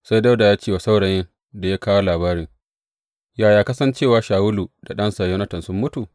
Sai Dawuda ya ce wa saurayin da ya kawo labarin, Yaya ka san cewa Shawulu da ɗansa Yonatan sun mutu?